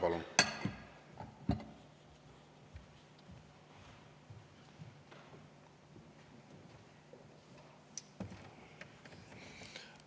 Palun!